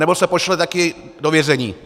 Anebo se pošle také do vězení.